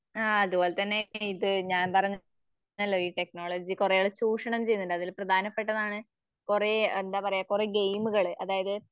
ആതുപോലെതന്നെ ഇത് ഞാൻ പറഞ്ഞ ല്ലൊ ഈ ടെക്നോളജി കുറേ ചൂഷണം ചെയ്യുന്നുണ്ട്. അതിൽ പ്രധാനപ്പെട്ടതാണ് കുറേ എന്താപറയ കുറെ ഗെയിമുകള്. അതായത്